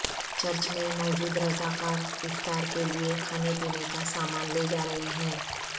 church میں موجود رضا کار افطار کے لیے کھانے پینے کا سامان لے جارہے ہیں